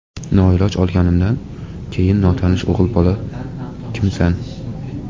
Noiloj olganimdan keyin notanish o‘g‘il bola ‘Kimsan?